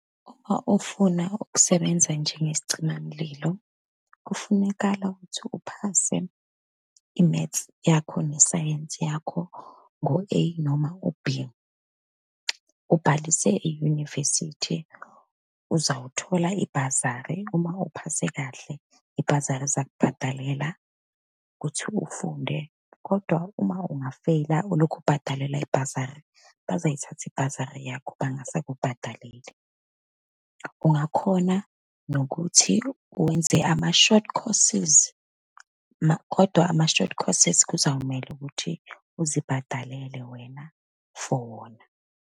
Uma ufuna ukusebenza njengesicimamlilo, kufunekala ukuthi uphase i-maths yakho, nesayensi yakho ngo-A, noma u-B. Ubhalise e-university, uzawuthola ibhazari, uma uphase kahle ibhazari izakubhadalela ukuthi ufunde. Kodwa uma ungafeyila ulokhu ubhadalelwa ibhazari, bazoyithatha ibhazari yakho, bangasakubhadaleli. Ungakhona nokuthi wenze ama-short courses, kodwa ama-short courses, kuzomele ukuthi uzibhadalele wena, for wona.